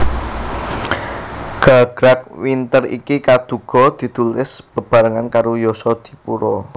Gagrag Winter iki kaduga ditulis beberangan karo Yasadipura